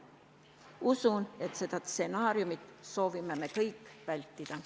Usun, et seda stsenaariumi soovime me kõik vältida.